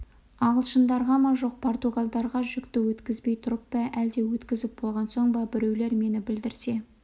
ағылшындарға ма жоқ португалдарға жүкті өткізбей тұрып па әлде өткізіп болған соң ба біреулер мені білдірсе